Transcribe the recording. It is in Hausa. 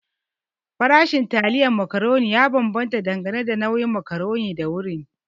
Farashin taliyan macaroni ya bambanta dangane da nau'in macaroni da wurin.